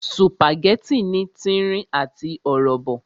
Sùpàgẹ́tì ní tírín àti ọ̀rọ̀bọ̀